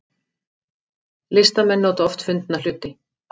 Listamenn nota oft fundna hluti